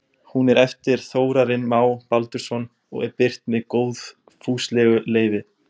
Hún er eftir Þórarinn Má Baldursson og er birt með góðfúslegu leyfi.